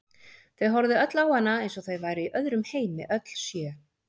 Þau horfðu öll á hana eins og þau væru í öðrum heimi, öll sjö.